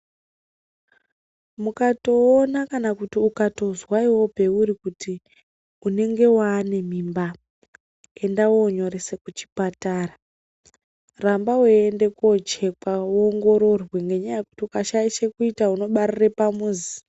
Mukatoona kana kuti ukatozwa iwewe peuri kuti unenge waane mimba enda wonyerese kuchipatara, ramba weinde kochekwa woongororwe ngenyaya yekuti ukashaishe kuita unobarire pamuzi.